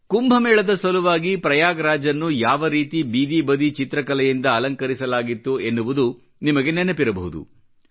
ಕುಂಭ ಮೇಳದ ಸಲುವಾಗಿ ಪ್ರಯಾಗ್ ರಾಜ್ ನ್ನು ಯಾವರೀತಿ ಬೀದಿಬದಿ ಚಿತ್ರಕಲೆಯಿಂದ ಅಲಂಕರಿಸಲಾಗಿತ್ತು ಎನ್ನುವುದು ನಿಮಗೆ ನೆನಪಿರಬಹುದು